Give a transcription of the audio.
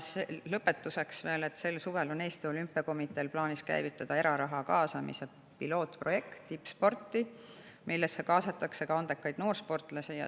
Lõpetuseks veel sellest, et sel suvel on Eesti Olümpiakomiteel plaanis käivitada eraraha tippsporti kaasamise pilootprojekt, kuhu kaasatakse ka andekaid noorsportlasi.